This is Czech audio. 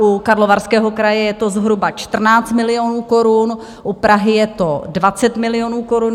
U Karlovarského kraje je to zhruba 14 milionů korun, u Prahy je to 20 milionů korun.